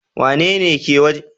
Wanene yake kiwon kaji?